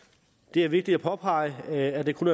det er vigtigt at påpege at det kun